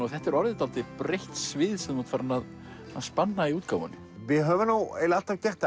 og þetta er orðið dálítið breitt svið sem þú spannar í útgáfunni við höfum eiginlega alltaf gert